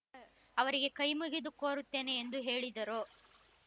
ಅವರಿಗೆ ಕೈ ಮುಗಿದು ಕೋರುತ್ತೇನೆ ಎಂದೂ ಹೇಳಿದರು